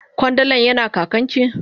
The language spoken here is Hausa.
Kwandalan yana kakan ki.